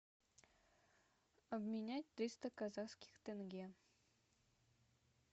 обменять триста казахских тенге